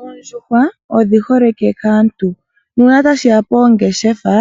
Oondjuhwa odhiholike kaantu nuuna tashiya poongeshefa